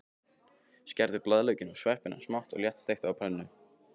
Skerðu blaðlaukinn og sveppina smátt og léttsteiktu á pönnu.